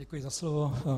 Děkuji za slovo.